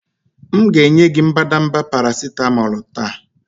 M ga-enye gị mbadamba paracetamol taa